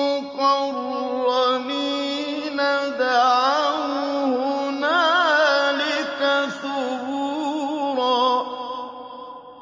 مُّقَرَّنِينَ دَعَوْا هُنَالِكَ ثُبُورًا